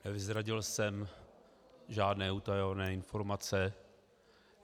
Neprozradil jsem žádné utajené informace.